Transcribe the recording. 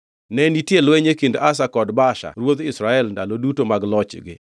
Ne nitie lweny e kind Asa kod Baasha ruodh Israel ndalo duto mag lochgi.